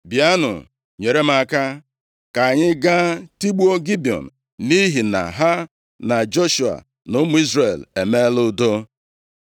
“Bịanụ nyere m aka, ka anyị gaa tigbuo Gibiọn, nʼihi na ha na Joshua na ụmụ Izrel emeela udo.”